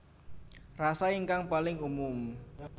Rasa ingkang paling umum